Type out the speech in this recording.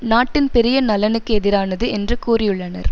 நாட்டின் பெரிய நலனுக்கு எதிரானது என்று கூறியுள்ளனர்